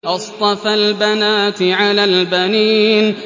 أَصْطَفَى الْبَنَاتِ عَلَى الْبَنِينَ